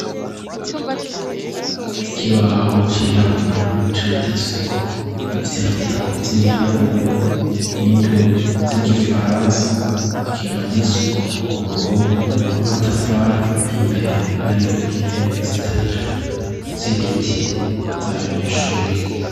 Ikibaho cirabura canditseko ivyandiko vy'ibiharuro n'indome zigifaransa, kimaditsweko kuruhome rwamatafari, imbere hari intebe zitatu zibiti zabanyeshure.